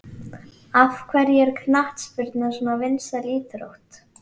Af hverju er knattspyrna svona vinsæl íþrótt?